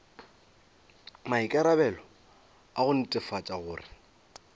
maikarabelo a go netefatša gore